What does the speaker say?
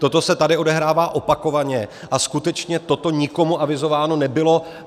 Toto se tady odehrává opakovaně a skutečně toto nikomu avizováno nebylo.